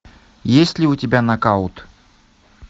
есть ли у тебя нокаут